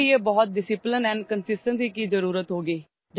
اس کے لیے بہت زیادہ نظم و ضبط اور مستقل مزاجی کی ضرورت ہوگی